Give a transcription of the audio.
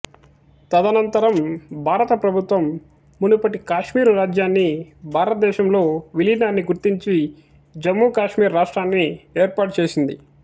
తదనంతరం భారత ప్రభుత్వం మునపటి కాశ్మీరు రాజ్యాన్ని భారత దేశంలో విలీనాన్ని గుర్తించి జమ్ము కాశ్మీర్ రాష్ట్రాన్ని ఏర్పాటు చేసింది